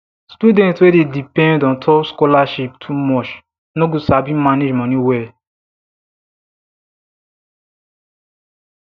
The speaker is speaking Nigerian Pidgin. student wey dey depend ontop scholarship too much no go sabi manage money well